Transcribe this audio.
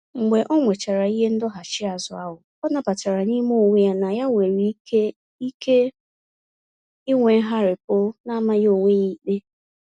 Mgbe onwechara ihe ndọghachi azụ ahụ, ọ nabatara n'ime onwe ya na ya nwere ike ike ịnwe ngharipu namaghị onwe ya ikpe.